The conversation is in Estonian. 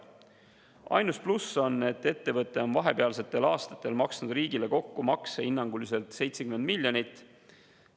Ainus pluss on, et ettevõte on vahepealsetel aastatel maksnud riigile kokku makse hinnanguliselt 70 miljonit.